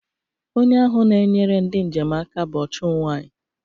Onye ahụ na-enyere ndị njem aka bụ ọ chụụ nwanyị